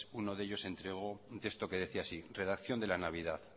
uno de ellos entregó un texto que decía así redacción de la navidad